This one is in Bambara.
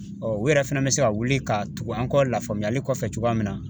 u yɛrɛ fɛnɛ bɛ se ka wuli ka tugu an kɔ lafaamuyali kɔfɛ cogoya min na